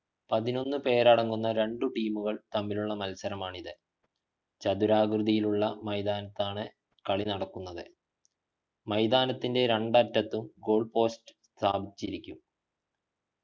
പതിനൊന്നു പേരടങ്ങുന്ന രണ്ടു team കൾ തമ്മിലുള്ള മത്സരമാണിത് ചതുരാകൃതിയിലുള്ള മൈതാനത്താണ് കളി നടക്കുന്നത് മൈതാനത്തിൻ്റെ രണ്ടറ്റത്തും goal post സ്ഥാപിച്ചിരിക്കും